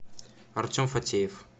артем фатеев